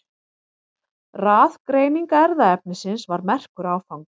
Raðgreining erfðaefnisins var merkur áfangi.